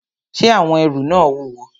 Ṣé àwọn ẹrù náà wúwo?